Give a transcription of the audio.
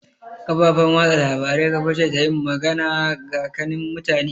Kafafan watsa labarai kaface ta yin magana gakanin mutane